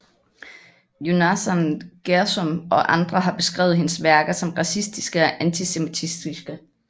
Yonassan Gershom og andre har beskrevet hendes værker som racistiske og antisemitiske